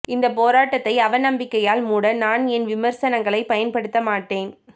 இந்தப் போராட்டத்தை அவநம்பிக்கையால் மூட நான் என் விமர்சனங்களைப் பயன்படுத்த மாட்டேன்